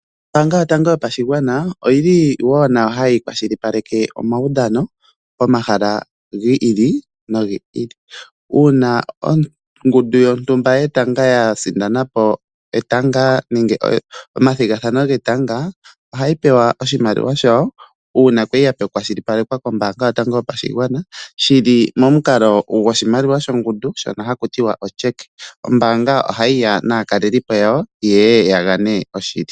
Ombaanga yotango yopashigwana oyi li wo nayo hayi kwashilipaleke omaudhano pomahala gi ili nogi ili. Uuna ongundu yontumba yetanga ya sindana po omathigathano getanga ohayi pewa oshimaliwa shawo uuna ya li ya kwashilipalekwa kombaanga yotango yopashigwana shi li momukalo goshimaliwa shongundu shono haku tiwa otyeke. Ombaanga ohayi ya naakalelipo yawo ye ye ya gane oshili.